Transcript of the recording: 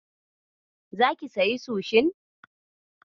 Zaki sayi sushin?